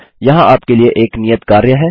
यहाँ आपके लिए एक नियत कार्य है